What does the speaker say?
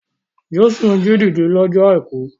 Jésù jí dìde lọ́jọ́ àìkú.